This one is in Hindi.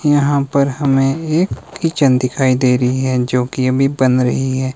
यहां पर हमें एक किचन दिखाई दे रही है जो कि अभी बन रही है।